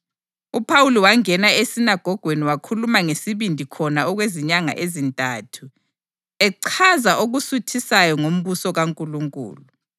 UPhawuli wangena esinagogweni wakhuluma ngesibindi khona okwezinyanga ezintathu, echaza okusuthisayo ngombuso kaNkulunkulu.